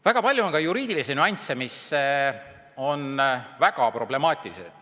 Väga palju on ka juriidilisi nüansse, mis on väga problemaatilised.